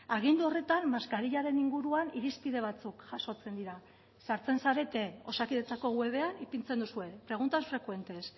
agindu horretan maskarillaren inguruan irizpide batzuk jasotzen dira sartzen zarete osakidetzako webean ipintzen duzue preguntas frecuentes